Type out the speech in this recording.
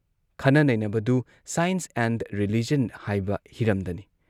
ꯈꯟꯅ ꯅꯩꯅꯕꯗꯨ science and religion ꯍꯥꯏꯕ ꯍꯤꯔꯝꯗꯅꯤ ꯫